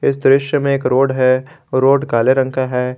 इस दृश्य में एक रोड है रोड काले रंग का है।